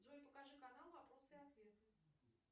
джой покажи канал вопросы ответы